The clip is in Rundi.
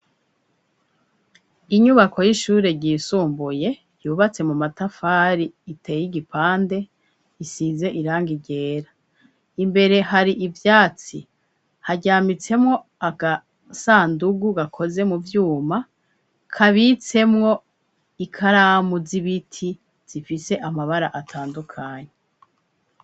Inyubako y'ishure ryisumbuye yubatse mu matafari iteye igipande isize irangi ryera imbere hari ivyatsi haryamitsemwo agasandugu gakoze mu vyuma kabitsemwo ikaramu z'ibiti zifise amabara atandukanye.